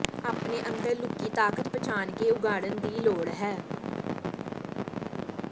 ਆਪਣੇ ਅੰਦਰ ਲੁਕੀ ਤਾਕਤ ਪਛਾਣ ਕੇ ਉਘਾੜਣ ਦੀ ਲੋੜ ਹੈ